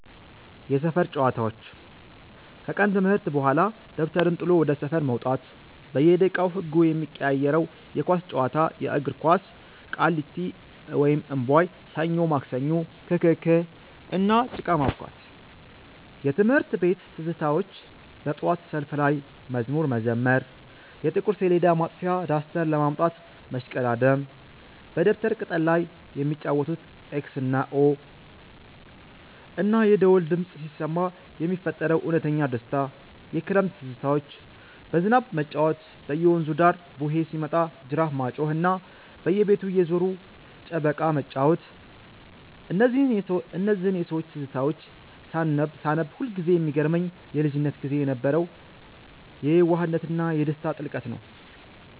የሰፈር ጨዋታዎች፦ ከቀን ትምህርት በኋላ ደብተርን ጥሎ ወደ ሰፈር መውጣት፤ በየደቂቃው ህጉ የሚቀያየረው የኳስ ጨዋታ (የእግር ኳስ)፣ ቃሊቲ (እምቧይ)፣ ሰኞ ማክሰኞ፣ ክክክ፣ እና ጭቃ ማቡካት። የትምህርት ቤት ትዝታዎች፦ በጠዋት ሰልፍ ላይ መዝሙር መዘመር፣ የጥቁር ሰሌዳ ማጥፊያ (ዳስተር) ለማምጣት መሽቀዳደም፣ በደብተር ቅጠል ላይ የሚጫወቱት "ኤክስ እና ኦ"፣ እና የደወል ድምፅ ሲሰማ የሚፈጠረው እውነተኛ ደስታ። የክረምት ትዝታዎች፦ በዝናብ መጫወት፣ በየወንዙ ዳር "ቡሄ" ሲመጣ ጅራፍ ማጮኽ፣ እና በየቤቱ እየዞሩ ጨበካ መጫወት። እነዚህን የሰዎች ትዝታዎች ሳነብ ሁልጊዜ የሚገርመኝ የልጅነት ጊዜ የነበረው የየዋህነትና የደስታ ጥልቀት ነው።